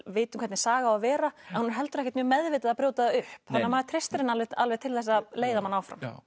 vitum hvernig saga á að vera en hún er heldur ekkert mjög meðvitað að brjóta það upp þannig að maður treystir henni alveg alveg til að leiða mann áfram